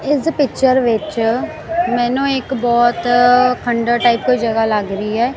ਇਸ ਪਿੱਚਰ ਵਿੱਚ ਮੈਨੂੰ ਇੱਕ ਬਹੁਤ ਖੰਡਰ ਟਾਈਪ ਕੋਈ ਜਗ੍ਹਾ ਲੱਗ ਰਹੀ ਐ।